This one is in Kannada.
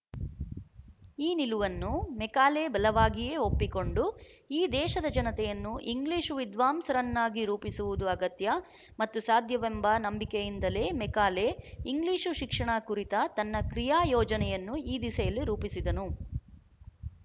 ಈ ನಿಲುವನ್ನು ಮೆಕಾಲೆ ಬಲವಾಗಿಯೇ ಒಪ್ಪಿಕೊಂಡು ಈ ದೇಶದ ಜನತೆಯನ್ನು ಇಂಗ್ಲಿಶು ವಿದ್ವಾಂಸರನ್ನಾಗಿ ರೂಪಿಸುವುದು ಅಗತ್ಯ ಮತ್ತು ಸಾಧ್ಯವೆಂಬ ನಂಬಿಕೆಯಿಂದಲೇ ಮೆಕಾಲೆ ಇಂಗ್ಲಿಶು ಶಿಕ್ಷಣ ಕುರಿತ ತನ್ನ ಕ್ರಿಯಾ ಯೋಜನೆಯನ್ನು ಈ ದಿಸೆಯಲ್ಲಿ ರೂಪಿಸಿದನು